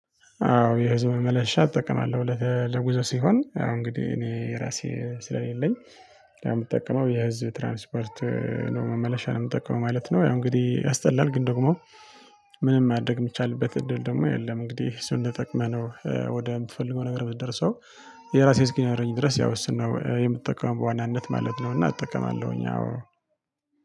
አዎ የህዝብ መመላለሻ እጠቀማለሁ ለጉዞ ሲሆን አዎ እንግዲህ እኔ የራሴ ስለሌለኝ የምጠቀመው የህዝብ ትራንስፖርት ነው መመለሻ ነው የምጠቀመው ማለት ነው። ያው እንግዲህ ያስጠላል ግን ደግሞ ምንም ማድረግ የሚቻልበት እድል ደግሞ የለም። እንግዲህ እሱን ተጠቅመህ ነው ወደ የምትፈልገው ነገር ምትደርሰው። የራሴ እስኪኖረኝ ድረስ ያው እሱን ነው የምትጠቀመው በዋናነት ማለት ነው። እና እጠቀማለሁኝ አዎ